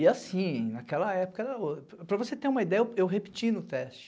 E assim, naquela época, para você ter uma ideia, eu repeti no teste.